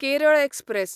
Kerala express